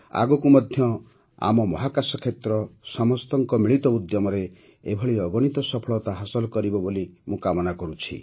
ଆଗକୁ ମଧ୍ୟ ଆମ ମହାକାଶ କ୍ଷେତ୍ର ସମସ୍ତଙ୍କ ମିଳିତ ଉଦ୍ୟମରେ ଏଭଳି ଅଗଣିତ ସଫଳତା ହାସଲ କରିବ ବୋଲି ମୁଁ କାମନା କରୁଛି